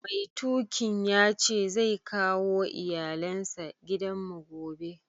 Mai tukin yace zai kawo iyallen sa gidan mu gobe.